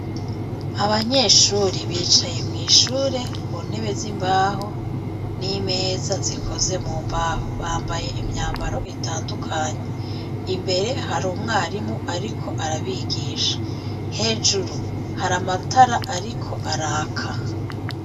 Abanyeshure bicaye mwishure ku ntebe zimbaho n'imeza zikoze mu mbaho, bambaye imyambaro itandukanye, imbere hari umwarimu ariko arabigisha, hejuru hari amatara ariko araka.